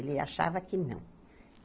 Ele achava que não.